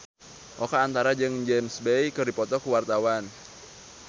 Oka Antara jeung James Bay keur dipoto ku wartawan